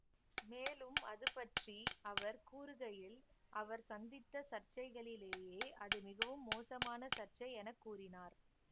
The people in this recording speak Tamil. மேலும் அதுபற்றி அவர் கூறுகையில் அவர் சந்தித்த சர்ச்சைகளிலேயே அது மிகவும் மோசமான சர்ச்சை எனக்கூறினார்